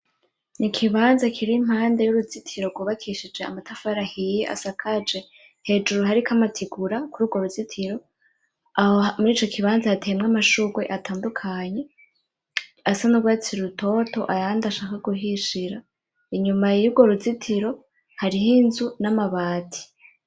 Ni ikibanza kiri impande y'uruzitiro rwubakishije amatafari ahiye, asakaje hejuru hariko amategura kururwo ruzitiro. Aho murico kibanza hateyemwo amashurwe atandukanye asa n'urwatsi rutoto, ayandi ashaka guhishira. Inyuma y'urwo ruzitiro hariho inzu n'amabati.